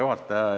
Hea juhataja!